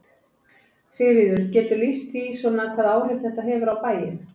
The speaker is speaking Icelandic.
Sigríður: Geturðu lýst því svona hvaða áhrif þetta hefur á bæinn?